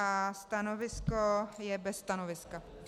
A stanovisko je - bez stanoviska.